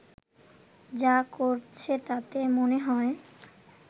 যা করছে তাতে মনে হয়